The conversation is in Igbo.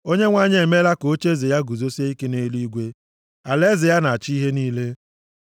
Onyenwe anyị emeela ka ocheeze ya guzosie ike nʼeluigwe, alaeze ya na-achị ihe niile.